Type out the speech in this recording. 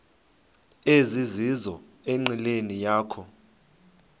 ezizizo enqileni yakho